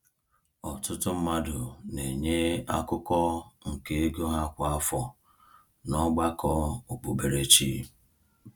Ọtụtụ mmadụ na-enye akụkụ nke ego ha kwa afọ n’ọgbakọ okpukperechi.